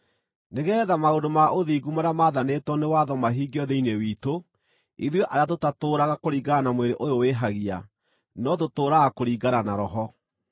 nĩgeetha maũndũ ma ũthingu marĩa mathanĩtwo nĩ watho mahingio thĩinĩ witũ, ithuĩ arĩa tũtatũũraga kũringana na mwĩrĩ ũyũ wĩhagia, no tũtũũraga kũringana na Roho.